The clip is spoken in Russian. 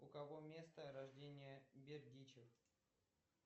у кого место рождения бердичев